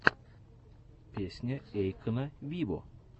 песня эйкона виво